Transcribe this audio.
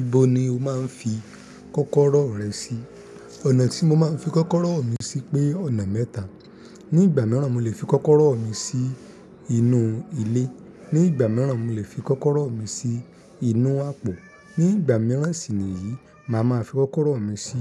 Ibo ni o máa ń fi kọ́kọ́rọ́ rẹ sí? Ọ̀nà tí mo máa ń fi kọ́kọ́rọ́ mi sí pé ọ̀nà mẹ́ta. Ní ìgbà mìíràn, mo lè fi kọ́kọ́rọ́ mi sí inú ilé. Ní ìgbà mìíràn, mo lè fi kọ́kọ́rọ́ mi sí inú àpò. Ní ìgbà mìíràn sì ni yìí, màá máa fi kọ́kọ́rọ́ mi sí